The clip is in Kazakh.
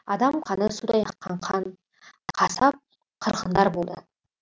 адам қаны судай аққан қан қасап қырғындар болды